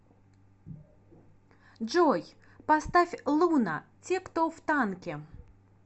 джой поставь луна те кто в танке